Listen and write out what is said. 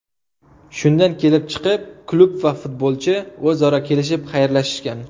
Shundan kelib chiqib, klub va futbolchi o‘zaro kelishib, xayrlashishgan.